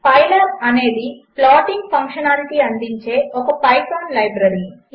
Pylabఅనేదిప్లాటింగ్ఫంక్షనాలిటీఅందించేఒకపైథాన్లైబ్రరీ